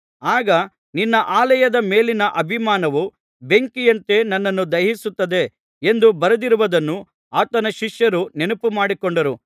ಆಗ ನಿನ್ನ ಆಲಯದ ಮೇಲಿನ ಅಭಿಮಾನವು ಬೆಂಕಿಯಂತೆ ನನ್ನನ್ನು ದಹಿಸುತ್ತಿದೆ ಎಂದು ಬರೆದಿರುವುದನ್ನು ಆತನ ಶಿಷ್ಯರು ನೆನಪುಮಾಡಿಕೊಂಡರು